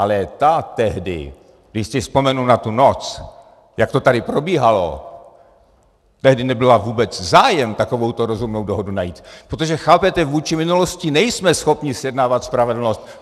Ale ta tehdy, když si vzpomenu na tu noc, jak to tady probíhalo, tehdy nebyl vůbec zájem takovouto rozumnou dohodu najít, protože, chápete?, vůči minulosti nejsme schopni zjednávat spravedlnost.